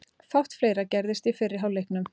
Fátt fleira gerðist í fyrri hálfleiknum.